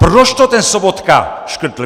Proč to ten Sobota škrtl?